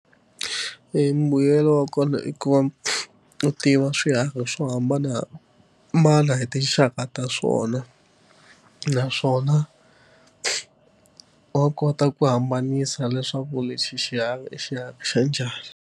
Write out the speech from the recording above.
Embuyelo wa kona i ku va u tiva swiharhi swo hambanahambana hi tinxaka ta swona naswona wa kota ku hambanisa leswaku lexi xiharhi i xiharhi xa njhani.